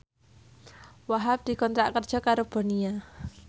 Wahhab dikontrak kerja karo Bonia